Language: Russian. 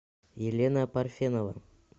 елена парфенова